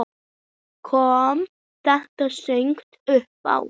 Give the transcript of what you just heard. Kom þetta snöggt uppá?